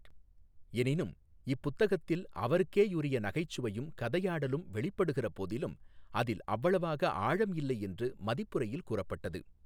எனினும் இப்புத்தகத்தில் அவருக்கேயுரிய நகைச்சுவையும் கதையாடலும் வெளிப்படுகிற போதிலும், அதில் அவ்வளவாக ஆழம் இல்லை என்று மதிப்புரையில் கூறப்பட்டது.